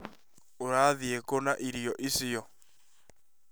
Ũrathiĩ kũ na irio icio?